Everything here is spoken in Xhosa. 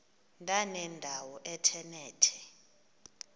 ndanendawo ethe nethe